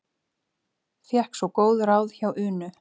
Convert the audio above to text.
Fékk svo góð ráð hjá Unu.